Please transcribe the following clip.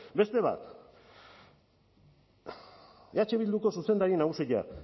beste bat eh bilduko zuzendari nagusia